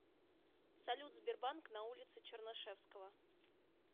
салют сбербанк на улице чернышевского